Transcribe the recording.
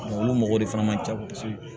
Olu mɔgɔw de fana man ca kosɛbɛ